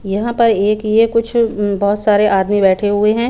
यहाँ पर एक ये कुछ बहत सारे आदमी बैठे हुए है।